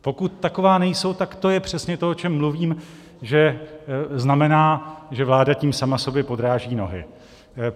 Pokud taková nejsou, tak to je přesně to, o čem mluvím, že znamená, že vláda tím sama sobě podráží nohy.